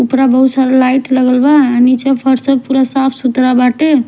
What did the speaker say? पूरा बहुत सारा लाइट लगल बाटे और नीचे फर्श पूरा साफ सुथरा बाटे--